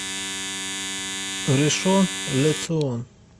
ришон ле цион